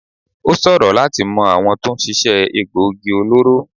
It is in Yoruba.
Ó ṣòro láti mọ àwọn tó ń ṣiṣẹ́ egboògi olóró.